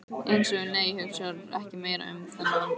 Eins og- nei, hugsa ekki meira um þann mann!